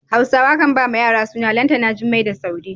Hausawa kan ba wa yara suna Lantana, Jummai da Saude.